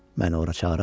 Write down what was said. Məni ora çağıran?